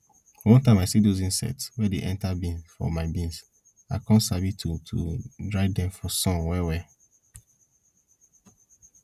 one time i see those insects wey dey enter bean for my bean i come sabi to to dry dem for sun well well